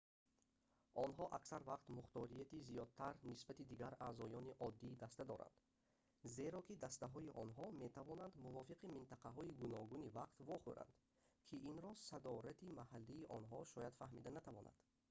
онҳо аксар вақт мухторияти зиёдтар нисбати дигар аъзоёни оддии даста доранд зеро ки дастаҳои онҳо метавонанд мувофиқи минтақаҳои гуногуни вақт вохӯранд ки инро садорати маҳаллии онҳо шояд фаҳмида натавонад